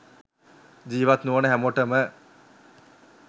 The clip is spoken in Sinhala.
ජීවත් නොවන හැමෝටම